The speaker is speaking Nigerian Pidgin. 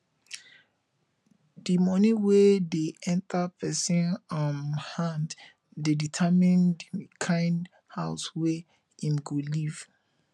di money wey dey enter person um hand dey determine di kimd house wey im go live